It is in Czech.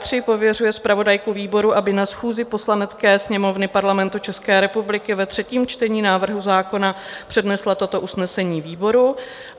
III. pověřuje zpravodajku výboru, aby na schůzi Poslanecké sněmovny Parlamentu České republiky ve třetím čtení návrhu zákona přednesla toto usnesení výboru;